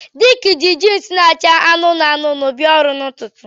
Dick ji jeans na-acha anụnụ anụnụ bịa ọrụ n'ụtụtụ